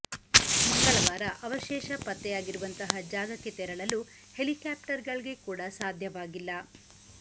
ಮಂಗಳವಾರ ಅವಶೇಷ ಪತ್ತೆಯಾಗಿರುವಂತಹ ಜಾಗಕ್ಕೆ ತೆರಳಲು ಹೆಲಿಕಾಪ್ಟರ್ ಗಳಿಗೆ ಕೂಡ ಸಾಧ್ಯವಾಗಿಲ್ಲ